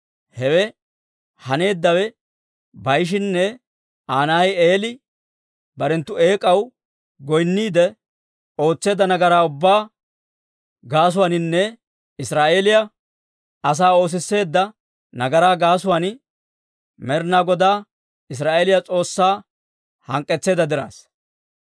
Hewe haneeddawe Baa'ishinne Aa na'ay Eeli barenttu eek'aw goynniide, ootseedda nagaraa ubbaa gaasuwaaninne Israa'eeliyaa asaa oosisseedda nagaraa gaasuwaan, Med'inaa Godaa, Israa'eeliyaa S'oossaa hank'k'etseedda diraassa.